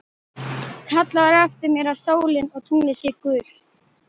Kallar á eftir mér að sólin og tunglið séu gull.